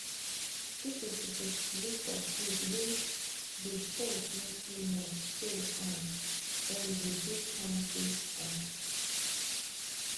people suppose to look for food wey the salt no too much so um dem go dey kampe um